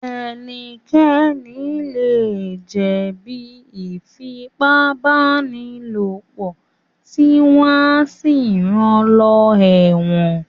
Ẹnikẹ́ni lè jẹ̀ bí Ífipá-báni-lòpọ̀ tí wọ́n á sì ran lọ sẹ́wọ̀n